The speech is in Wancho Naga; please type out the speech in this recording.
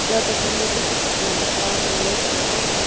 ta tuak phai ma chu sheko ta tai ley chi a.